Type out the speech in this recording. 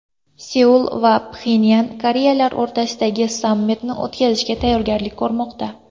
Seul va Pxenyan Koreyalar o‘rtasidagi sammitni o‘tkazishga tayyorgarlik ko‘rmoqda.